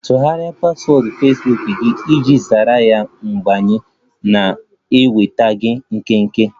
Tọgharịa paswọọdụ Fesbuk gị iji zere ya mbanye na-enwetaghi ikike!